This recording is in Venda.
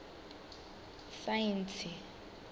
saintsi